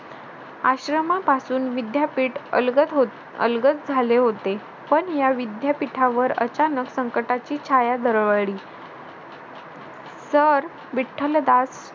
आश्रमापासून विद्यापीठ अलगद होत अलगद झाले होते पण या विद्यापीठावर अचानक संकटाची छाया दरवळली सर विठ्ठलदास